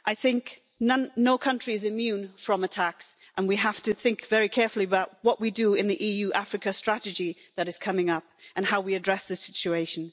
I think no country is immune from attacks and we have to think very carefully about what we do in the Africa-EU strategy that is coming up and how we address the situation.